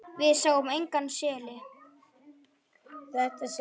Við sáum einnig seli.